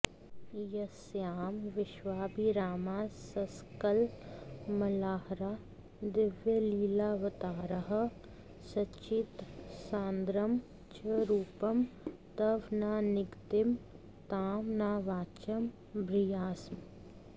यस्यां विश्वाभिरामास्ससकलमलाहरा दिव्यलीलावताराः सच्चित्सान्द्रं च रूपं तव न निगदितं तां न वाचं भ्रियासम्